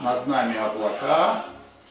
над нами облака